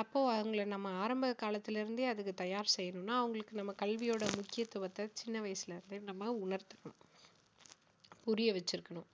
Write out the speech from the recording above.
அப்போ அவங்களை நாம ஆரம்ப காலத்தில இருந்தே அதுக்கு தயார் செய்யணும்னா அவங்களுக்கு நம்ம கல்வியோட முக்கியத்துவத்தை சின்ன வயசுல இருந்தே நம்ம உணர்த்தணும் புரிய வச்சிருக்கணும்